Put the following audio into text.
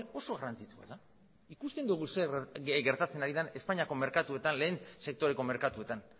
batasunarekin oso garrantzitsua da ikusten dugu zer gertatzen ari den espainiako merkatuetan lehen sektoreko merkatuetan